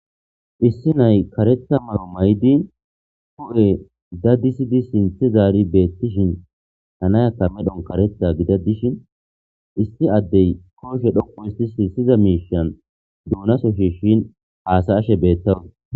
Issi nay karetha mayo mayidi hu'e dadisidi sinththe zaari beettishin ha nayaka medhon kaaretha gida dishin issi addey kooshe dhoqu histisi siyiza miishan duunaso shishin haasashe beettawus.